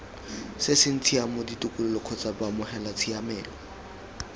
seng tshiamo ditokololo kgotsa baamogelatshiamelo